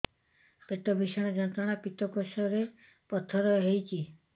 ପେଟ ଭୀଷଣ ଯନ୍ତ୍ରଣା ପିତକୋଷ ରେ ପଥର ହେଇଚି